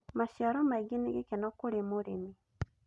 Maciaro maingĩ nĩ gĩkeno kũrĩ mũrĩmi